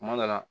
Kuma dɔ la